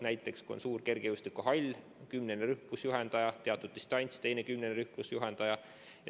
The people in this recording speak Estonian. Näiteks kui on suur kergejõustikuhall, siis on üks kümnene rühm, kus juhendaja hoiab teistega teatud distantsi, ja ka teine kümnene rühm oma juhendajaga.